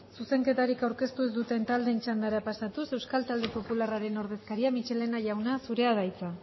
zuzenketari aurkeztu duten taldeen txandara pasatuz euskal talde popularraren ordezkaria michelena jauna zurea da hitza